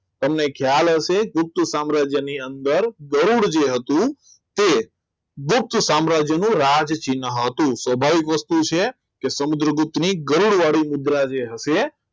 તમને ખ્યાલ હશે ગુપ્ત સામ્રાજ્ય ની અંદર ગરુડ જે હતું તે ગુપ્ત સામ્રાજ્યનું રાજ ચિન્હ હતું સ્વાભાવિક વસ્તુ છે કે સમુદ્રગુપ્ત ની ગરુડ વાળી મુદ્રા હશે